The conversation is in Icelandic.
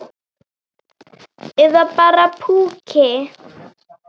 Eða bara púki.